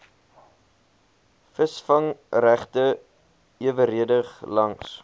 visvangregte eweredig langs